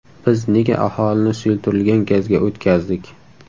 Biz nega aholini suyultirilgan gazga o‘tkazdik?